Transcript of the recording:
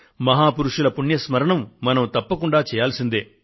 మహా పురుషుల పుణ్య స్మరణం మనం తప్పకుండా చేయాల్సిందే